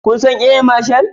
Kun san Air Marshal?